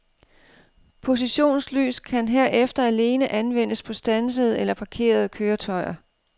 Positionslys kan herefter alene anvendes på standsede eller parkerede køretøjer.